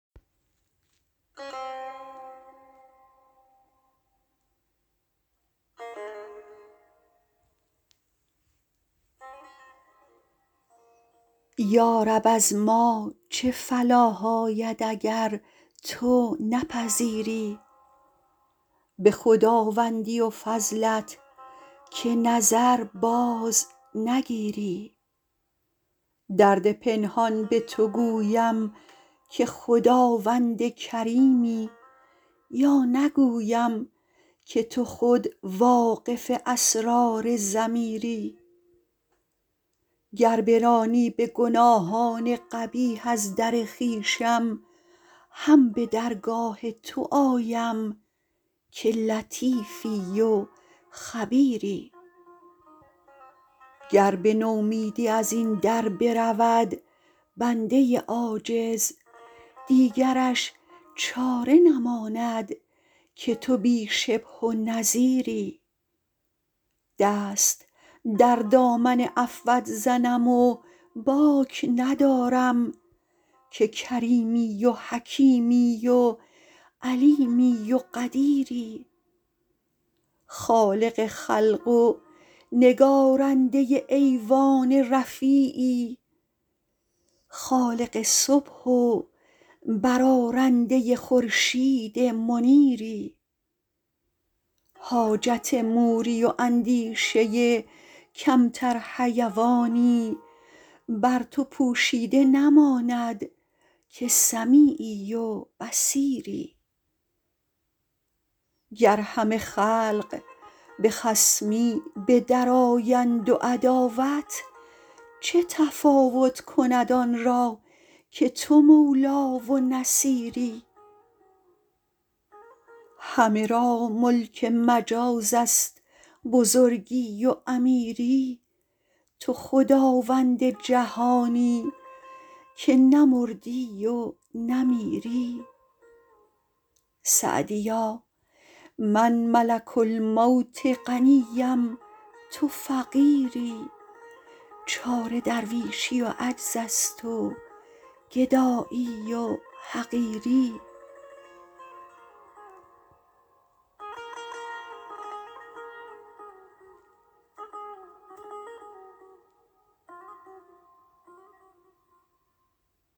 یارب از ما چه فلاح آید اگر تو نپذیری به خداوندی و فضلت که نظر باز نگیری درد پنهان به تو گویم که خداوند کریمی یا نگویم که تو خود واقف اسرار ضمیری گر برانی به گناهان قبیح از در خویشم هم به درگاه تو آیم که لطیفی و خبیری گر به نومیدی از این در برود بنده عاجز دیگرش چاره نماند که تو بی شبه و نظیری دست در دامن عفوت زنم و باک ندارم که کریمی و حکیمی و علیمی و قدیری خالق خلق و نگارنده ایوان رفیعی خالق صبح و برآرنده خورشید منیری حاجت موری و اندیشه کمتر حیوانی بر تو پوشیده نماند که سمیعی و بصیری گر همه خلق به خصمی به در آیند و عداوت چه تفاوت کند آن را که تو مولا و نصیری همه را ملک مجاز است بزرگی و امیری تو خداوند جهانی که نه مردی و نه میری سعدیا من ملک الموت غنی ام تو فقیری چاره درویشی و عجز است و گدایی و حقیری